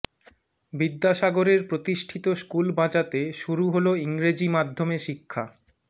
বিদ্যাসাগরের প্রতিষ্ঠিত স্কুল বাঁচাতে শুরু হল ইংরেজি মাধ্যমে শিক্ষা